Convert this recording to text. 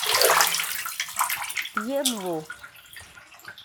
емву